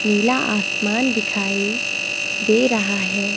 नीला आसमान दिखाई दे रहा हैं।